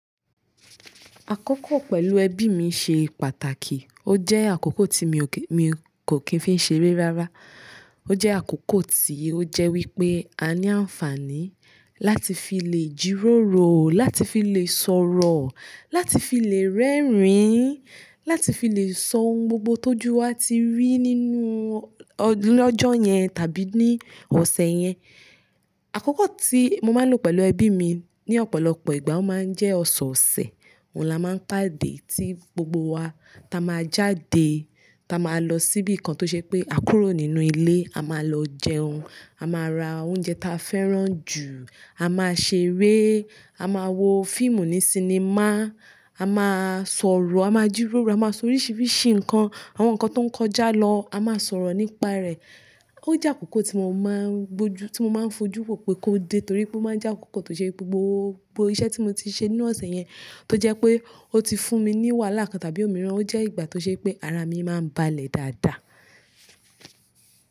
Àkókò pẹ̀lú ẹbí mi ṣe pàtàkì. Ó jẹ́ àkókò tí mi ò kí-- mi kò kì í fi ṣe eré rárá. Ó jẹ́ àkókò tí ó jẹ́ wípé a ní àǹfààní láti fi lè jìròrò, láti fi lè sọ̀rọ̀, láti fi lè rẹ́rìn-ín, láti fi lè sọ ohun gbogbo tó ju wa ti rí nínú ọ-- ní ọjọ́ yẹn tàbí ní ọ̀sẹ̀ yẹn. Àkókò tí mo máa ń lò pẹ̀lú ẹbí mi ní ọ̀pọ̀lọpọ̀ ìgbà ó máa ń jẹ́ ọ̀sẹ̀ẹ̀sẹ̀. Òun là máa ń pàdé tí gbogbo wa ta máa jáde, ta máa lọ síbi kan tó ṣe pé àkúrò nínú ilé, a máa lọ jẹun, a máa ra oúnjẹ ta fẹ́ràn jù, a máa ṣe eré, a máa wo fíìmù ní sinimá, a máa sọ̀rọ̀, a máa jìròrò, a máa sọ oríṣiríṣi nǹkan, àwọn nǹkan tó ń kọjá lọ, a máa sọ̀rọ̀ nípa rẹ̀. Ó jẹ́ àkókò tí mo máa ń gbójú-- tí mo máa ń fojú pọ̀ pé kó dé torí pé ó máa ń jẹ́ àkókò tó ṣe pé gbogbo iṣẹ́ tí mo ti ṣe nínú ọ̀sẹ̀ yẹn tó jẹ́ pé ó ti fún mi ní wàhálà kan tàbí òmíràn. Ó jẹ́ ìgbà tó ṣe pé ara mi máa ń balẹ̀ dáadáa.